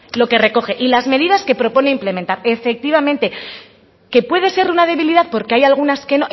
lo que recoge y las medidas que propone implementar efectivamente que puede ser una debilidad porque hay algunas que